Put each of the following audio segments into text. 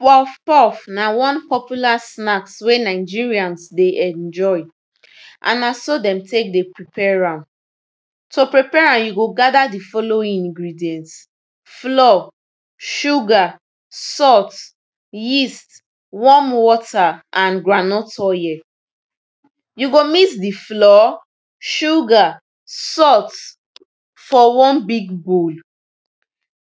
pof pof na wan popular snacks wey nigerians dey enjoy and na so den tek de prepare am to prepare am, you go gather di following ingrident, flour, sugar, salt, yeast, warm water and groundnut oil you go mix di flour, sugar, salt fo one big bowl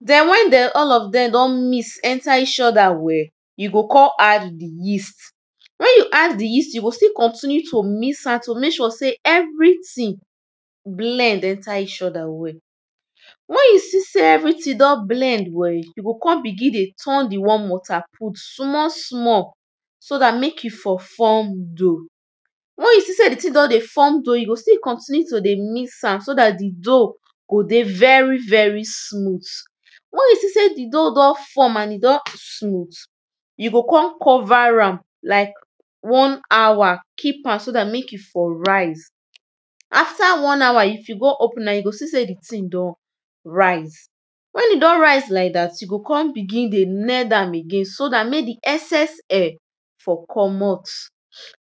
den wen de all of dem don mix enter eachother well, you go kon add di yeast. wen you add di yeast, you go kon still continue to mix am to mek sure sey everytin blend enter eachother well wen you see sey everytin don blend well you o kon begin dey turn di water put small small so that mek e for form dough wen you see sey di tin don dey form dough, you go still continue to dey mix am so da di dough go dey veri veri smooth. wen you see sey di dough don form and e don smooth, you go kon cover am like one hour keep am so dat mek e for rise. after one hour if you don open am you go see sey di tin don rise. wen e don rise like dat, you go kon begin dey mend am again so dat di excess air for commot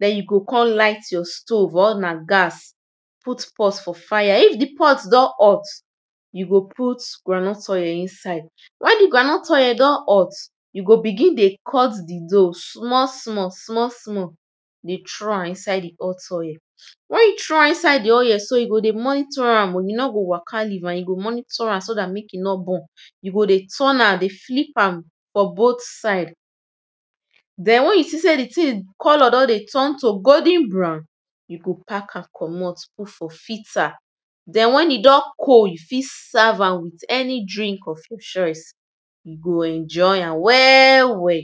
den you go kon light your stove or na gas put pot for fire if di pot don hot, you go put groundnut oil inside wen di groundnut oil don hot, you go begin dey cut di dough small small small small you throw am inside di hot oil wen you throw am inside di oil so you go monitor an you no go waka leav am you go monitor am so dat mek e nor burn. you go dey turn am dey flip am for both side. den wen you see sey di thing color don dey trun to golden brown, you go pack am commot put for filter. den wen e don cold you fit serve am with any drink of your choice you go enjoy am well well.